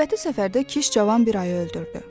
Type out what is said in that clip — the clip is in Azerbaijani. Növbəti səfərdə Kiş cavan bir ayı öldürdü.